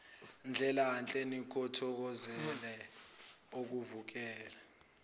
ndlelanhle nikuthokozele ukuvakasha